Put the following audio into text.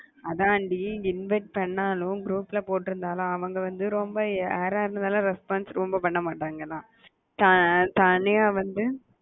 அதான் டி invite பண்ணாலும் group ல போட்டிருந்தாலும் அவங்க வந்து ரொம்ப யாரை இருந்தாலும் response ரொம்ப பண்ண மாட்டாங்க தான் தனியா வந்து